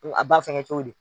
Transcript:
Ko a b'a fɛngɛ cogo di?